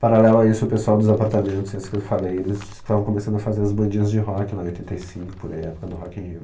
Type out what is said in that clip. Paralelo a isso, o pessoal dos apartamentos, esses que eu falei, eles estavam começando a fazer as bandinhas de rock lá em oitenta e cinco, por aí, época do Rock in Rio.